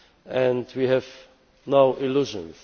And we have no illusions